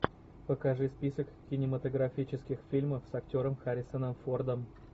покажи список кинематографических фильмов с актером харрисоном фордом